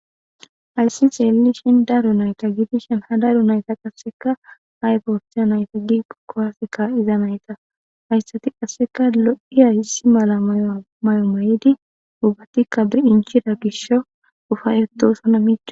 Haysan xelishe daro nayti gidishin ha daro nayta qaseka ayba otiza nayte giko kuwase ka'za nayta haysika qase lo'iya issi mala mayo mayidi ubatika beichida gishaw ufaytosona mic'c'osona.